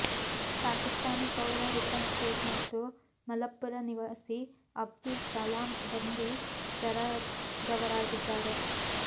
ಪಾಕಿಸ್ತಾನಿ ಪೌರ ರಿಫನ್ ಶೇಖ್ ಮತ್ತು ಮಲಪ್ಪುರ ನಿವಾಸಿ ಅಬ್ದುಲ್ ಸಲಾಂ ಬಂಧಿತರಾದವರಾಗಿದ್ದಾರೆ